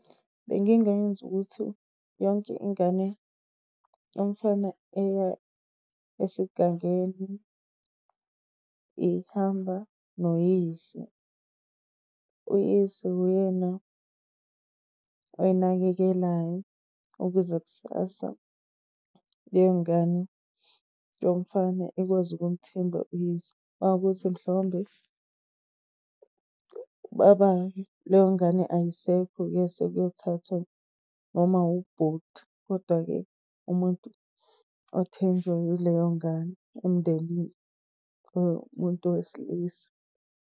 Bengingayenza ukuthi yonke ingane yomfana eya esigangeni ihamba noyise. Uyise wuyena oyinakekelayo ukuze kusasa leyo ngane yomfana ikwazi ukumthemba uyise. Mawukuthi mhlawumbe ubabayo leyo ngane ayisekho-ke sekuyothathwa noma ubhuti, koda-ke umuntu othenjwe yileyo ngane emndenini owumuntu wesilisa.